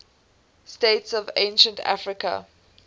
states of ancient africa